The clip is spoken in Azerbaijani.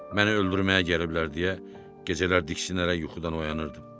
Məni öldürməyə gəliblər deyə gecələr diksinərək yuxudan oyanırdım.